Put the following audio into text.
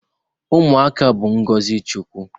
Ụmụaka bụ ngọzị Chukwu.